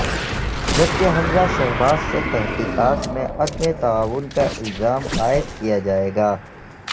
جب کہ حمزہ شہباز سے تحقیقات میں عدم تعاون کا الزام عائد کیا جائے گا